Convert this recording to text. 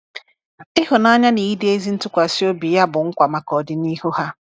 Ihụnanya na ịdị ezi ntụkwasị obi Ya bụ nkwa maka ọdịnihu ha.